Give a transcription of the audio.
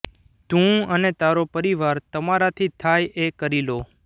તું અને તારો પરિવાર તમારાથી થાય એ કરી લો